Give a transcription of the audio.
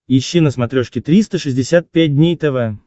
ищи на смотрешке триста шестьдесят пять дней тв